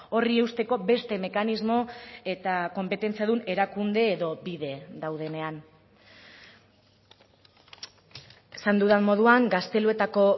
horri eusteko beste mekanismo eta konpetentzia dun erakunde edo bide daudenean esan dudan moduan gazteluetako